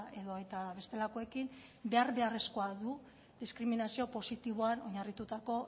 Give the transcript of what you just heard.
edota bestelakoekin behar beharrezkoa du diskriminazio positiboan oinarritutako